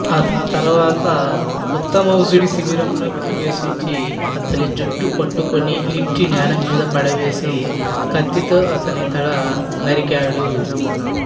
తరువాత ఉత్తమౌజుడి శిబిరంలో ప్రవేశించి అతడి జుట్టుపట్టుకుని ఈడ్చి నేల మీద పడవేసి కత్తితో అతడి తల నరికాడు